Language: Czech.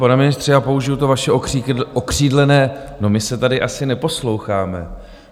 Pane ministře, já použiji to vaše okřídlené - no, my se tady asi neposloucháme.